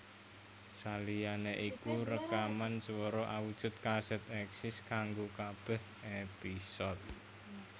Saliyané iku rekaman swara awujud kasèt èksis kanggo kabèh épisode